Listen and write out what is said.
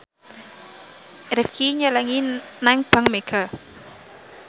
Rifqi nyelengi nang bank mega